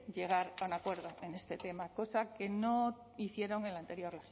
llegar al acuerdo en este tema cosa que no hicieron en la anterior